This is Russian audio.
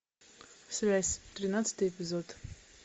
связь тринадцатый эпизод